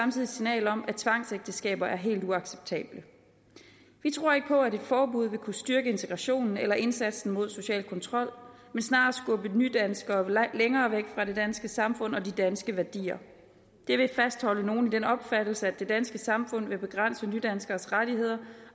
signal om at tvangsægteskaber er helt uacceptabelt vi tror ikke på at et forbud vil kunne styrke integrationen eller indsatsen mod social kontrol men snarere skubbe nydanskere længere væk fra det danske samfund og de danske værdier det vil fastholde nogle i den opfattelse at det danske samfund vil begrænse nydanskeres rettigheder